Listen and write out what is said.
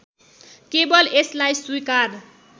केवल यसलाई स्वीकार